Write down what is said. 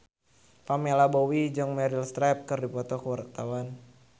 Pamela Bowie jeung Meryl Streep keur dipoto ku wartawan